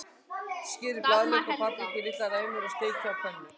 Skerið blaðlauk og paprikur í litlar ræmur og steikið á pönnu.